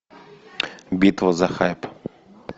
битва за хайп